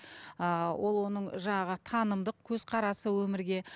ыыы ол оның жаңағы танымдық көзқарасы өмірге